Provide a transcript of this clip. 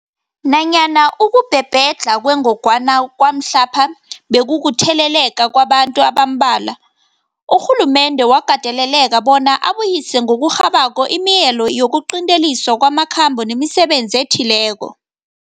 Nanyana ukubhebhedlha kwengogwana kwamhlapha bekukutheleleka kwabantu abambalwa, urhulumende wakateleleka bona abuyise ngokurhabako imileyo yokuqinteliswa kwamakhambo nemisebenzi ethileko.